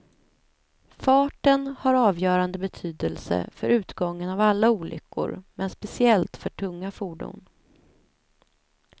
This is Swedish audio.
Farten har avgörande betydelse för utgången av alla olyckor, men speciellt för tunga fordon.